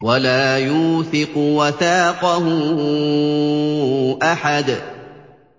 وَلَا يُوثِقُ وَثَاقَهُ أَحَدٌ